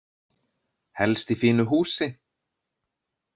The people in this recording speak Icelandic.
Helst í fínu húsi.